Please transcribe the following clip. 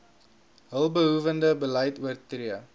hulpbehoewende beleid oortree